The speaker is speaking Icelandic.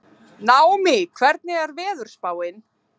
Naómí, hvernig er veðurspáin?